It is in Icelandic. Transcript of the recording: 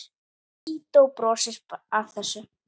Lídó brosir bara að þessu.